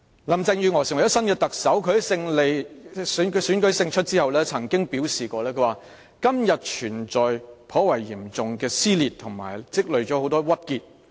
林鄭月娥成為新任特首，她在選舉勝出後曾表示："今天存在頗嚴重的撕裂和積累了很多鬱結。